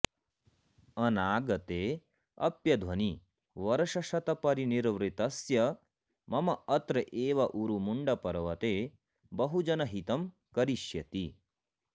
अनागते अप्यध्वनि वर्षशतपरिनिर्वृतस्य मम अत्र एव उरुमुण्डपर्वते बहुजनहितं करिष्यति